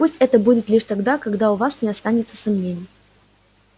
пусть это будет лишь тогда когда у вас не останется сомнений